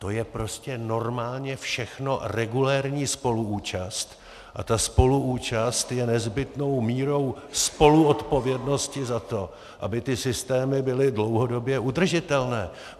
To je prostě normálně všechno regulérní spoluúčast a ta spoluúčast je nezbytnou mírou spoluodpovědnosti za to, aby ty systémy byly dlouhodobě udržitelné.